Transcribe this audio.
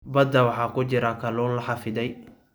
Badda waxaa ku jira kalluun la xafiday.